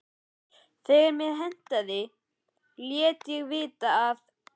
Þegar mér hentaði léti ég vita að